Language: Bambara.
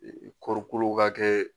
kɔɔri kolo ka kɛ